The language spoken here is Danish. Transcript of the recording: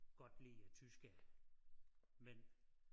Godt lide øh tyske mænd